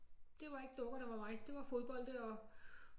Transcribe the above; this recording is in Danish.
Det var ikke dukker der var mig det var fodbolde og